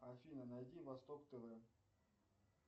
афина найди восток тв